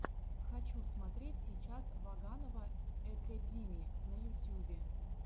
хочу смотреть сейчас ваганова экэдими на ютюбе